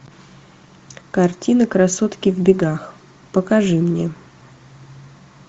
картина красотки в бегах покажи мне